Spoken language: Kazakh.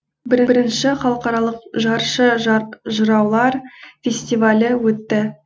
бірінші халықаралық жыршы жыраулар фестивалі өтті